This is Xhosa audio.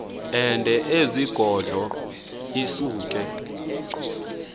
ende ezigodlo isuke